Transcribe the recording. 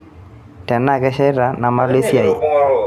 tenaa kesheita nemalo esiai